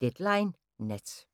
Deadline Nat